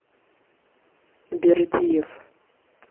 бердиев